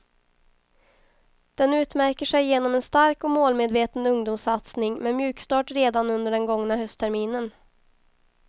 Den utmärker sig genom en stark och målmedveten ungdomssatsning med mjukstart redan under den gångna höstterminen.